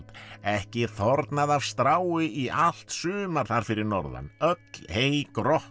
ekki þornað af strái í allt sumar þar fyrir norðan öll hey